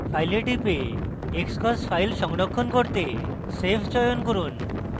file এ টিপুন এবং xcos file সংরক্ষণ করতে save চয়ন করুন